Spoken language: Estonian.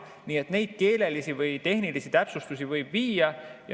Nii et neid keelelisi ja tehnilisi täpsustusi võib teha.